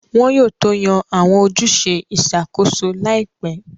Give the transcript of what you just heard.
Wọn yóò tó yan Àwọn ojúṣe ìṣàkóso láìpẹ́